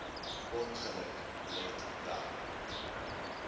ongeluk let wel